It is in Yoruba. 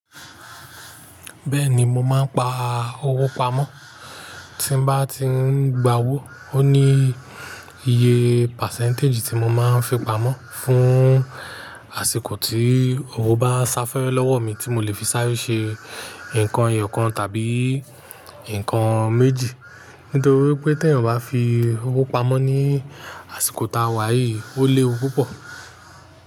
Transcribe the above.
Bẹ́ẹ̀ni mo máa ń pa owó pamọ́, tí bá ti ń gba owó ó ní iye percentage tí mo máa ń fi pamọ́ fún àsìkò tí owó bá sá fẹ́re lọ́wọ́ mi tí mo lè fi sáré ṣe nǹkan eyọ̀kan tàbí nǹkan méjì. Nítorí pé tí ẹ̀yàn bá fi owó pamọ́ ní àsìkò tàwà yìí, ó léwu púpọ̀.